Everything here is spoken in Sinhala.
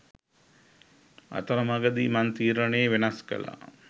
අතර මඟදි මං තීරණේ වෙනස් කළා